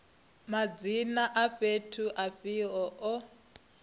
madzina a fhethu afhio o